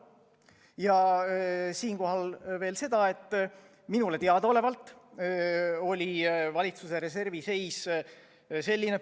Ja siinkohal veel seda, et minule teadaolevalt oli valitsuse reservi seis selline.